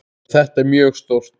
En þetta er mjög stórt.